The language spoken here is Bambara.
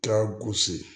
Ka gosi